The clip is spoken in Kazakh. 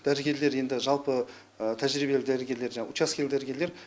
дәрігерлер енді жалпы тәжірибелі дәрігерлер жаңағы учаскелі дәрігерлер